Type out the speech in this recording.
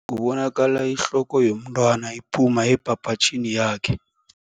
bonakala ihloko yomntwana iphuma ebhabhatjhini yakhe.